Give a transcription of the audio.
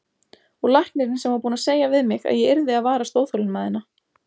Og læknirinn sem var búinn að segja við mig að ég yrði að varast óþolinmæðina.